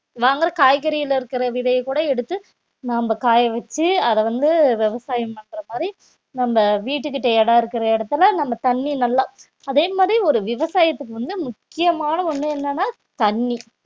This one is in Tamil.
வாங்கற காய்கறியிலே இருக்கிற விதையக் கூட எடுத்து நாம காய வச்சு அத வந்து விவசாயம் பண்ற மாதிரி நம்ம வீட்டுக்கிட்ட இடம் இருக்கிற இடத்துல நம்ம தண்ணி நல்லா அதே மாதிரி ஒரு விவசாயத்துக்கு வந்து முக்கியமான ஒண்ணு என்னன்னா தண்ணி